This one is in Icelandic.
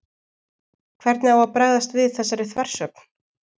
Hvernig á að bregðast við þessari þversögn?